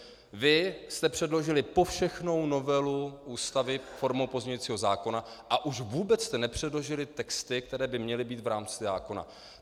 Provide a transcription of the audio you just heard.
Vy jste předložili povšechnou novelu Ústavy formou pozměňujícího zákona, a už vůbec jste nepředložili texty, které by měly být v rámci zákona.